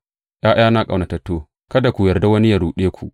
’Ya’yana ƙaunatattu, kada ku yarda wani yă ruɗe ku.